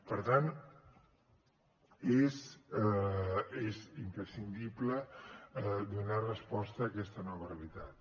per tant és imprescindible donar resposta a aquesta nova realitat